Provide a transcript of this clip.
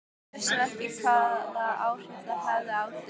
Ég vissi ekki hvaða áhrif það hefði á þig.